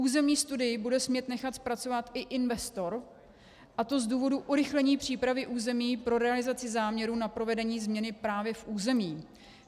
Územní studii bude smět nechat zpracovat i investor, a to z důvodu urychlení přípravy území pro realizaci záměrů na provedení změny právě v území.